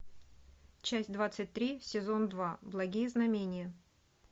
часть двадцать три сезон два благие знамения